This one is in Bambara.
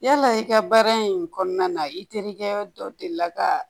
Yala i ka baara in kɔnɔna na i terikɛ dɔ delila ka